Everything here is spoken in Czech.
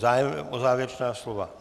Zájem o závěrečná slova?